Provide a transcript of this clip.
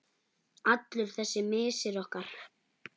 Allur þessi missir okkar.